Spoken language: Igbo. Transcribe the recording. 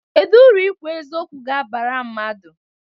Kedụ uru ikwu eziokwu ga-abara mmadụ?